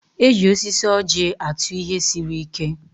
E ji osisi ọ́jị̀ atụ ihe siri ike.